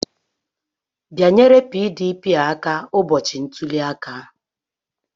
Bịanyere PDP aka ụbọchị ntuli aka!